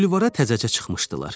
Bulvara təzəcə çıxmışdılar.